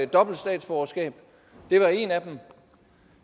dobbelt statsborgerskab det var en af dem